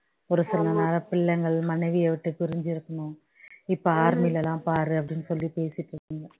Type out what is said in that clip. ஒரு சில நேரம் பிள்ளைகள் மனைவியை விட்டு பிரிஞ்சு இருக்கணும் இப்ப army ல எல்லாம் பாரு அப்படின்னு சொல்லி பேசிட்டு இருக்